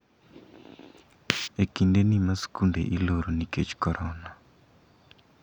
E kinde ni ma skunde iloro nikech korona